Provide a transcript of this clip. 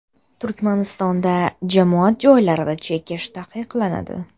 Turkmanistonda jamoat joylarida chekish taqiqlanadi.